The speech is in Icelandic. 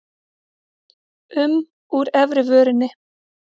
um úr efri vörinni.